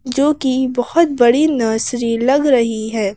जो कि बहुत बड़ी नर्सरी लग रही है।